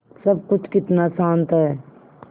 सब कुछ कितना शान्त है